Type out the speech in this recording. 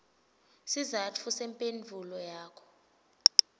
sizatfu semphendvulo yakho